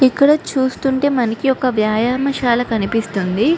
ఇక్కడ చూస్తుంటే మనకి ఒక వ్యాయమ సల కనిపిస్తుంది.